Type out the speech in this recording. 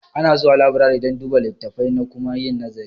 Ana zuwa laburare don duba litattafai da kuma yin nazari